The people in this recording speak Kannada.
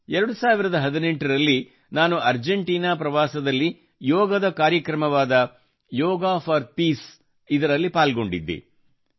2018 ರಲ್ಲಿ ನಾನು ಅರ್ಜೆಂಟೀನಾ ಪ್ರವಾಸದಲ್ಲಿ ಯೋಗದ ಕಾರ್ಯಕ್ರಮವಾದ ಯೋಗ ಫೋರ್ Peaceನಲ್ಲಿ ಪಾಲ್ಗೊಂಡಿದ್ದೆನು